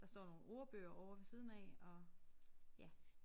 Der står nogle ordbøger ovre ved siden af og ja